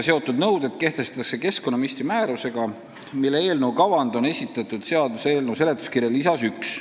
Need nõuded kehtestatakse keskkonnaministri määrusega, mille kavand on seaduseelnõu seletuskirja lisas 1.